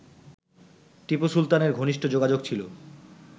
টিপু সুলতানের ঘনিষ্ঠ যোগাযোগ ছিল